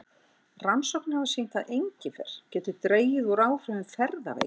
Rannsóknir hafa sýnt að engifer getur dregið úr áhrifum ferðaveiki.